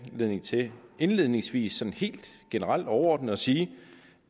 anledning til indledningsvis sådan helt generelt og overordnet at sige